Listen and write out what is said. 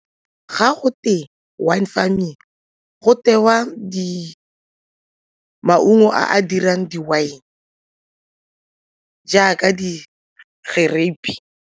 Ga go te wine farming, go tewa maungo a a dirang di-wine jaaka di .